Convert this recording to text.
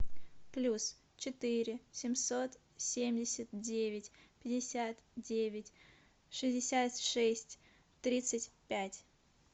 плюс четыре семьсот семьдесят девять пятьдесят девять шестьдесят шесть тридцать пять